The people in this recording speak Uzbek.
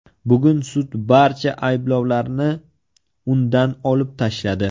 Bugun sud barcha ayblovlarni undan olib tashladi.